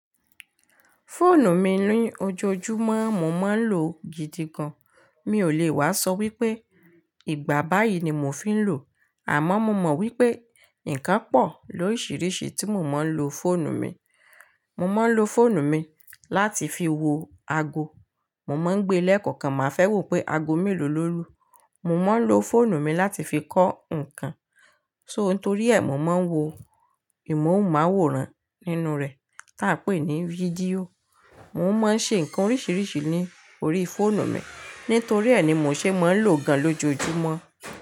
Fóònù mi ní ojoojúmọ́, mo máa ń lò gidi gan. Mi ò lè wá sọ wípé ìgbà báyìí ni mo fi ń lò, àmọ́ mo mọ̀ wípé nǹkan pọ̀ lóríṣiríṣi tí mo máa ń lò fóònù mi. Mo máa ń lò fóònù mi láti fi wo ago. Mo máa ń gbe lẹ́ẹ̀kọ̀kan, màá fẹ́ wò pé ago mélòó lò lù. Mo máa ń lò fóònù mi láti fi kọ́ ǹkan, so nítorí ẹ, mo máa ń wo ìmọ̀hùnmáwòrán nínú rẹ̀ tí a ń pè ní fídíò. Mo máa ń ṣe ǹkan oríṣiríṣi ní orí fóònù mi, nítorí ẹ ni mo ṣe máa ń lòó gan lójoojúmọ́